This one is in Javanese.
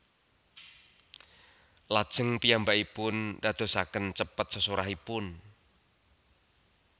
Lajeng piyambakipun dadosaken cepet sesorahipun